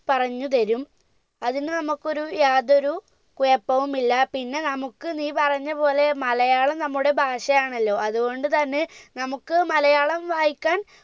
പറഞ്ഞു തരും അതിന് നമ്മക്കൊരു യാതൊരു കുഴപ്പവും ഇല്ല പിന്നെ നമുക്ക് നീ പറഞ്ഞ പോലെ മലയാളം നമ്മുടെ ഭാഷയാണല്ലോ അതുകൊണ്ട് തന്നെ നമുക്ക് മലയാളം വായിക്കാൻ